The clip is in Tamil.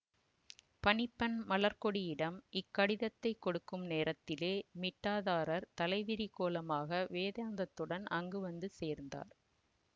பணி பெண் மலர்க்கொடியிடம் இக்கடிதத்தைக் கொடுக்கும் நேரத்திலே மிட்டாதாரர் தலைவிரிக்கோலமாக வேதாந்தத்துடன் அங்கு வந்து சேர்ந்தார்